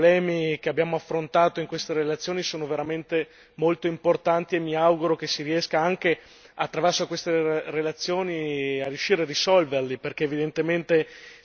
Perché i problemi che abbiamo affrontato in queste relazioni sono veramente molto importanti e mi auguro che si riesca, anche attraverso queste relazioni, a riuscire a risolverli.